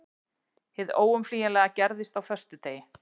Hið óumflýjanlega gerðist á föstudegi.